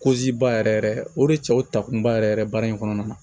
ba yɛrɛ yɛrɛ o de cɛw ta kunba yɛrɛ yɛrɛ baara in kɔnɔna na